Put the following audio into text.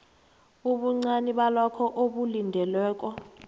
ubuncani balokho okulindelweko